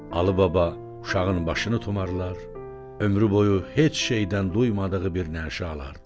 Alıbaba uşağın başını tumarlar, ömrü boyu heç şeydən duymadığı bir nəşə alırdı.